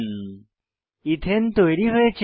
এথানে ethane তৈরী হয়েছে